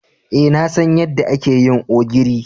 Eh, na san yadda ake yin ogiri.